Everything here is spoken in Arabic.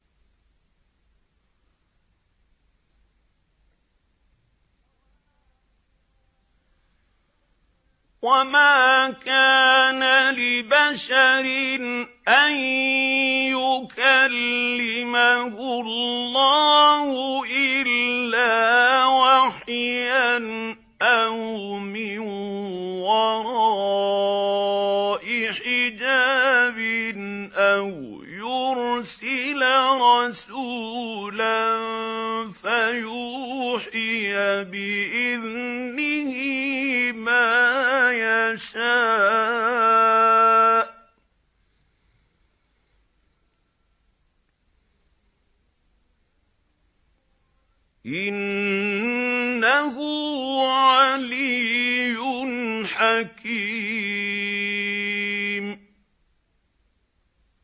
۞ وَمَا كَانَ لِبَشَرٍ أَن يُكَلِّمَهُ اللَّهُ إِلَّا وَحْيًا أَوْ مِن وَرَاءِ حِجَابٍ أَوْ يُرْسِلَ رَسُولًا فَيُوحِيَ بِإِذْنِهِ مَا يَشَاءُ ۚ إِنَّهُ عَلِيٌّ حَكِيمٌ